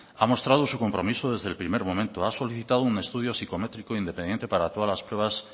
ha mostrado su compromiso desde el primer momento ha solicitado un estudio psicométrico independiente para todas las pruebas